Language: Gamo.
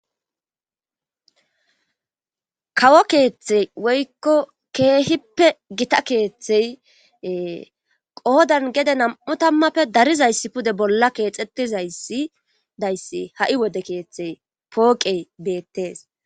kawo keeththey woykko keehippe gita keeththey qoodan gede nam'u tammappe darizayssi pude bolla keexetizaysidayssi ha"i wode keeththey pooqey beettees